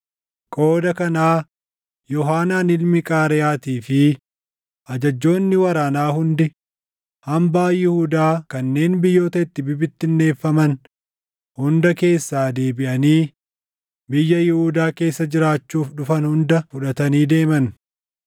Qooda kanaa Yoohaanaan ilmi Qaareyaatii fi ajajjoonni waraanaa hundi hambaa Yihuudaa kanneen biyyoota itti bibittinneeffaman hunda keessaa deebiʼanii biyya Yihuudaa keessa jiraachuuf dhufan hunda fudhatanii deeman.